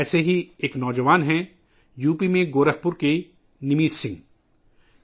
ایسے ہی ایک نوجوان ہیں یو پی میں گورکھپور کے نیمت سنگھ جی